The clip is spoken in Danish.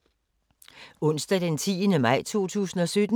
Onsdag d. 10. maj 2017